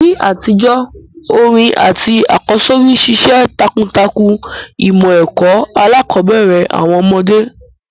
NÍ àtijó, orin àtí àkọ́sórí ṣiṣẹ́ takuntakun ìmọ̀ ẹ́ko alákòbẹ̀rẹ̀ àwon ọ́mọ́dé